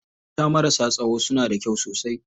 Mata marasa tsayo suna da kyau sosai.